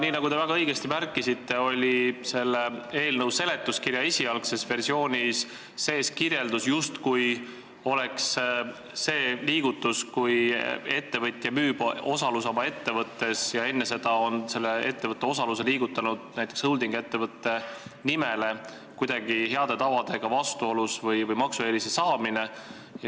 Nii nagu te väga õigesti märkisite, oli selle eelnõu seletuskirja esialgses versioonis sees kirjeldus, justkui oleks see liigutus, kui ettevõtja müüb osaluse oma ettevõttes ja on enne seda teinud selle ettevõtte osaluse näiteks holding-ettevõtte nimele, kuidagi heade tavadega vastuolus või maksueelise saamine.